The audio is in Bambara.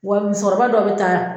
Wa muso kɔrɔba dɔ bɛ taa